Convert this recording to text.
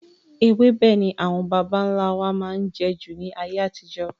Ewébẹ̀ ni àwọn bàbá nlá wa máa n jẹ jù ní ayé àtijó